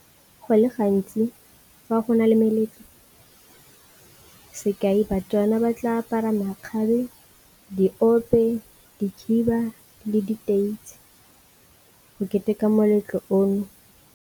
Go le gantsi fa gona le meletlo sekai baTswana ba tla apara makgabe, diope, dikhiba le diteitsi go keteka moletlo ono.